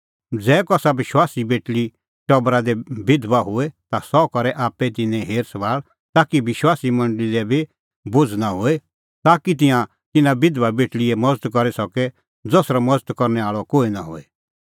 ज़ै कसा विश्वासी बेटल़ीए टबरा दी बिधबा होए ता सह करै आप्पै तिन्नें हेर सभाल़ ताकि विश्वासी मंडल़ी लै बी बोझ़ नां होए ताकि तिंयां तिन्नां बिधबा बेटल़ीए मज़त करी सके ज़सरअ मज़त करनै आल़अ कोहै निं होए